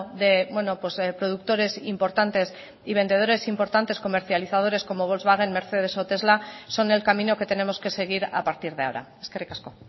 de productores importantes y vendedores importantes comercializadores como volkswagen mercedes o tesla son el camino que tenemos que seguir a partir de ahora eskerrik asko